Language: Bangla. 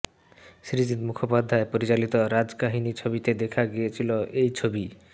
সৃজিত মুখোপাধ্যায় পরিচালিত রাজকাহিনী ছবিতে দেখা গিয়েছিল এই ছবি